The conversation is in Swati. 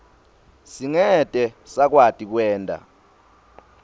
singete sakwati kwenta